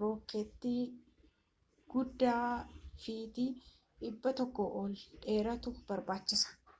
rookeetii guddaa fitii 100 ol dheeratu barbaachisa